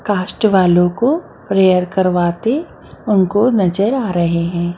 cast वालो को prayer करवाते उनको नजर आ रहे--